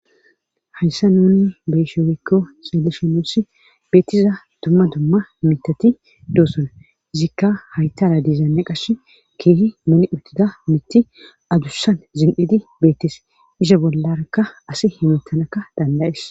hayssa nuni beyshe woyikko xelishe nus beettiza dumma dumma mitati doossona izikka haytala diizaane qash keehi moni uttida mitti adussan zin7edi beettes iza bollakka asi himettanakka dandayes